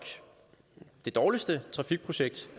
det dårligste trafikprojekt